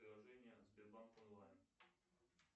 приложение сбербанк онлайн